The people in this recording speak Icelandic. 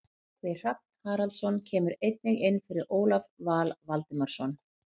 Tryggvi Hrafn Haraldsson kemur einnig inn fyrir Ólaf Val Valdimarsson.